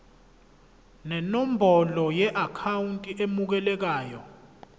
nenombolo yeakhawunti emukelayo